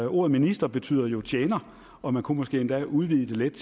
ordet minister betyder jo tjener og man kunne måske endda udvide det lidt